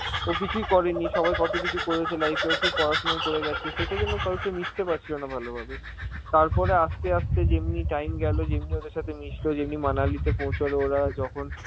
ও কিছুই করেনি, সবাই কত কিছু করেছে life এ, ও শুধু পড়াশোনাই করে গেছে, সেটার জন্য কারো সাথে মিশতে পারছিল না ভালোভাবে.তারপরে আস্তে আস্তে যেমনি time গেল. তেমনি ওদের সাথে মিশলো, যেদিন মানালিতে পৌছালো ওরা যখন